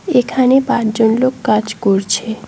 এখানে পাঁচজন লোক কাজ করছে।